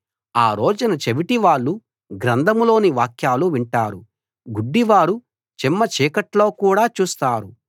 ఆ రోజున చెవిటి వాళ్ళు గ్రంథంలోని వాక్యాలు వింటారు గుడ్డి వారు చిమ్మచీకట్లో కూడా చూస్తారు